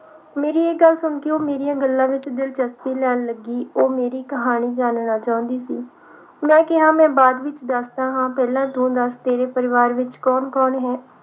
ਮੇਰੀ ਇਹ ਗੱਲ ਸੁਣ ਕੇ ਉਹ ਮੇਰੀਆਂ ਗੱਲਾਂ ਵਿਚ ਦਿਲਚਸਪੀ ਲੈਣ ਲੱਗੀ ਉਹ ਮੇਰੀ ਕਹਾਣੀ ਜਾਨਣਾ ਚਾਹੁੰਦੀ ਸੀ ਮੈਂ ਕਿਹਾ ਮੈਂ ਬਾਅਦ ਵਿਚ ਦੱਸਦਾ ਹੈ ਪਹਿਲਾਂ ਤੂੰ ਜੱਸ ਤੇਰੇ ਪਰਿਵਾਰ ਵਿਚ ਕੌਣ ਹੈ